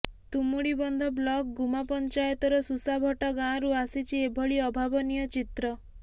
Tumudibandha block Guma ପଞ୍ଚାୟତର ସୁସାଭଟା ଗାଁରୁ ଆସିଛି ଏଭଳି ଅଭାବନୀୟ ଚିତ୍ର